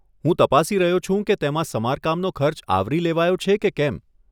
હું તપાસી રહ્યો છું કે તેમાં સમારકામનો ખર્ચ આવરી લેવાયો છે કે કેમ.